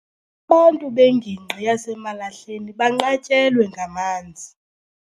Abantu bengingqi yaseMalahleni banqatyelwe ngamanzi.